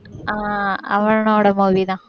ஆஹ் அவனோட movie தான்